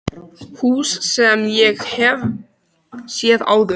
Hús sem ég hef séð áður.